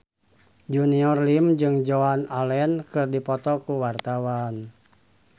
Junior Liem jeung Joan Allen keur dipoto ku wartawan